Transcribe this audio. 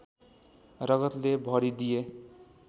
रगतले भरिदिए